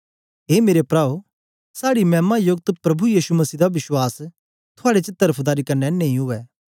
ए मेरे प्राओ साड़े मैमा योकत प्रभु यीशु मसीह दा विश्वास थुआड़े च तरफदारी कन्ने नेई उवै